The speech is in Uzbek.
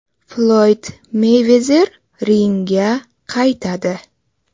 Floyd Meyvezer ringga qaytadi.